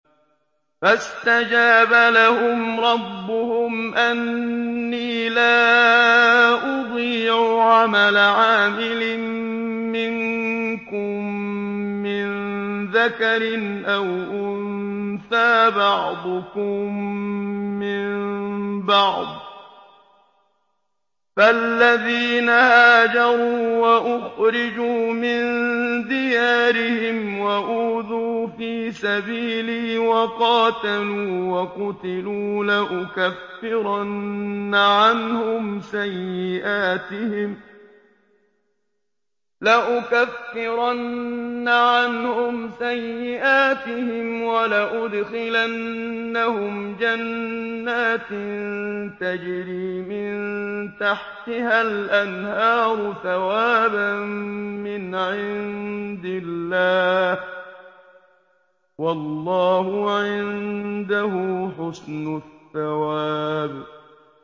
فَاسْتَجَابَ لَهُمْ رَبُّهُمْ أَنِّي لَا أُضِيعُ عَمَلَ عَامِلٍ مِّنكُم مِّن ذَكَرٍ أَوْ أُنثَىٰ ۖ بَعْضُكُم مِّن بَعْضٍ ۖ فَالَّذِينَ هَاجَرُوا وَأُخْرِجُوا مِن دِيَارِهِمْ وَأُوذُوا فِي سَبِيلِي وَقَاتَلُوا وَقُتِلُوا لَأُكَفِّرَنَّ عَنْهُمْ سَيِّئَاتِهِمْ وَلَأُدْخِلَنَّهُمْ جَنَّاتٍ تَجْرِي مِن تَحْتِهَا الْأَنْهَارُ ثَوَابًا مِّنْ عِندِ اللَّهِ ۗ وَاللَّهُ عِندَهُ حُسْنُ الثَّوَابِ